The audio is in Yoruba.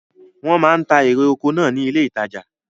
Wọ́n máa ń ta erè oko náà ní ilé ìtajà.